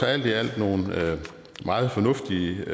er alt i alt nogle meget fornuftige